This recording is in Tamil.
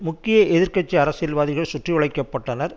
முக்கிய எதிர் கட்சி அரசியல்வாதிகள் சுற்றி வளைக்கப்பட்டனர்